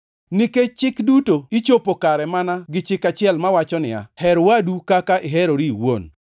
Nikech Chik duto ichopo kare mana gi chik achiel mawacho niya, “Her wadu kaka iherori iwuon.” + 5:14 \+xt Lawi 19:18\+xt*